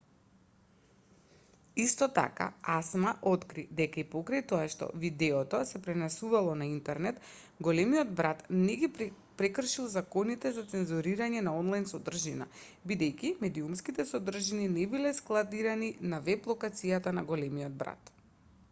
исто така acma откри дека и покрај тоа што видеото се пренесувало на интернет големиот брат не ги прекршил законите за цензурирање на онлајн содржина бидејќи медиумските содржини не биле складирани на веб-локацијата на големиот брат